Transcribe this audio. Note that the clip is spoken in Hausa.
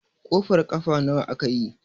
kofar kafa nawa aka yi?